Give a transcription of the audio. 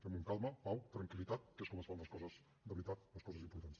fem ho amb calma pau tranquil·litat que és com es fan les coses de veritat les coses importants